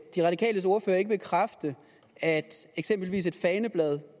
de radikales ordfører ikke bekræfte at eksempelvis et faneblad